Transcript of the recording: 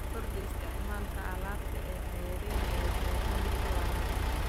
Kordhi isticmaalka alaabta ceeriin ee deegaanka ee waraabka.